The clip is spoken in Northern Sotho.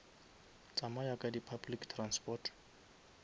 tsamaya ka di public transport